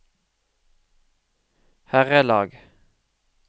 herrelag